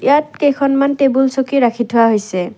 ইয়াত কেইখনমান টেবুল চকী ৰাখি থোৱা হৈছে।